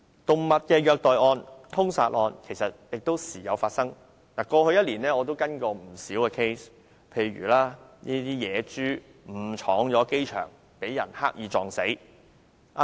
動物的虐待案和殺害案亦時有發生，在過去1年我也跟進過不少個案，譬如野豬誤闖機場，被人刻意撞死。